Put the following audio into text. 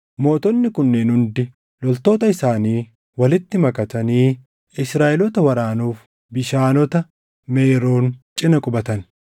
Mootonni kunneen hundi loltoota isaanii walitti makatanii Israaʼeloota waraanuuf Bishaanota Meeroon cina qubatan.